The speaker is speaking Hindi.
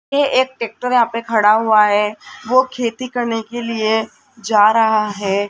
ये एक ट्रैक्टर यहां पे खड़ा हुआ है वो खेती करने के लिए जा रहा है।